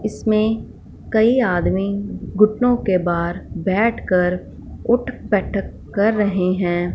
इसमें कई आदमी घुटनों के बार बैठकर उठ बैठक कर रहे हैं।